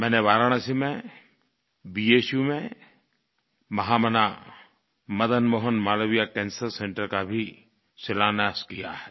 मैंने वाराणसी में भू में महामना मदन मोहन मालवीय कैंसर सेंटर का भी शिलान्यास किया है